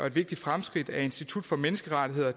et vigtigt fremskridt at institut for menneskerettigheder